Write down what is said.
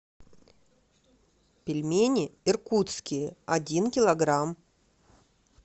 пельмени иркутские один килограмм